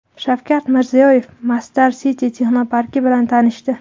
Shavkat Mirziyoyev Masdar City texnoparki bilan tanishdi.